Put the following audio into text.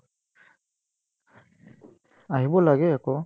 আহিব লাগে আকৌ